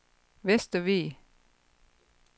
Vestervig